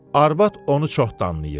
Arvad onu çox danlayırdı.